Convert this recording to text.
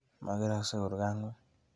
Makeraksei kurkena ng'ung'.